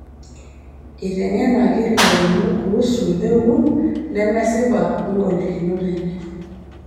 Eiteng'enaki lairemok kuusu mpekun nemesipa ogolikinot enye